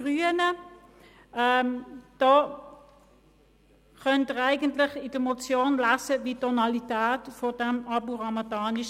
Sie können in der Motion lesen, wie die Tonalität von Abu Ramadan war.